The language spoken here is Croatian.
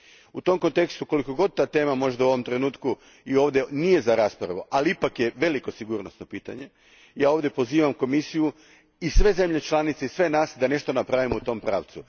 U tom kontekstu, koliko god ova tema u ovom trenutku i ovdje možda nije za raspravu, ali ipak je veliko sigurnosno pitanje, pozivam Komisiju, sve zemlje članice i sve nas da nešto napravimo u tom pravcu.